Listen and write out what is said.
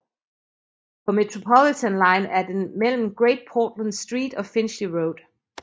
På Metropolitan line er den mellem Great Portland Street og Finchley Road